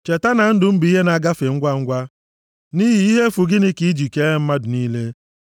Cheta, na ndụ m bụ ihe na-agafe ngwangwa. Nʼihi ihe efu gịnị ka i ji kee mmadụ niile!